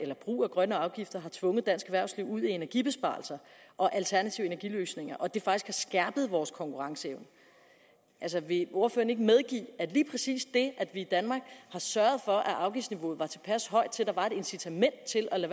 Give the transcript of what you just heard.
brug af grønne afgifter har tvunget dansk erhvervsliv ud i energibesparelser og alternative energiløsninger og at det faktisk har skærpet vores konkurrenceevne vil ordføreren ikke medgive at lige præcis det at vi i danmark har sørget for at afgiftsniveauet var tilpas højt til at der var et incitament til at